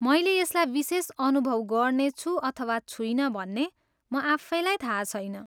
मैले यसलाई विशेष अनुभव गर्नेछु अथवा छुइनँ भन्ने म आफैलाई थाहा छैन।